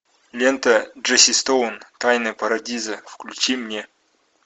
лента джесси стоун тайны парадиза включи мне